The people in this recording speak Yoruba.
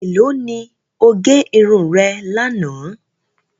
Ẹ̀lọ́ ni o gé irun rẹ̀ lana?